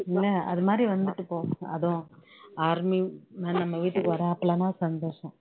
இல்ல அது மாதிரி வந்துட்டு போகணும் அதுவும் army நம்ம வீட்டுக்கு வர்றாங்கன்னா சந்தோஷம்